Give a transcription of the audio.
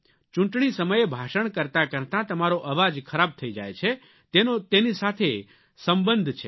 ચૂંટણી સમયે ભાષણ કરતા કરતાં તમારો અવાજ ખરાબ થઇ જાય છે તેનો તેની સાથે સંબંધ છે